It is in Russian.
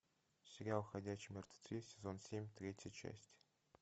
сериал ходячие мертвецы сезон семь третья часть